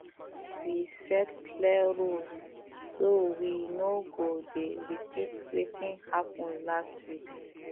we set clear rules so we no go dey repeat wetin happen last week